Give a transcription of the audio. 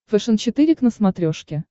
фэшен четыре к на смотрешке